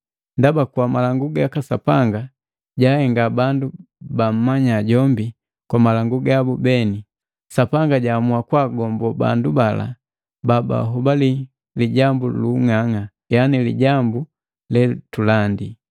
Ndaba kwa malangu gaka Sapanga, jahenga bandu bammanya jombi kwa malangu gabu beni, Sapanga jahamua kagombo bandu bala babahobali lijambu luung'ang'a, yani lijambu letulandi.